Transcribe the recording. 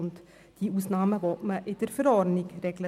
Die Ausnahmen will man in der Verordnung regeln.